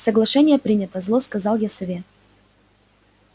соглашение принято зло сказал я сове